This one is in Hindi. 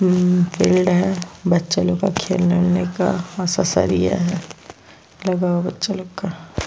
उम्म फील्ड है बच्चा लोग का खेलने वेलने का और सा सरिया है लगा हुआ बच्चा लोग का--